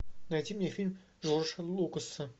найти мне фильм джорджа лукаса